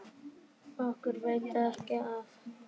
Okkur veitir ekki af.